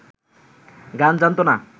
গান জানত না